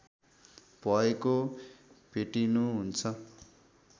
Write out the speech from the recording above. भएको भेटिनुहुन्छ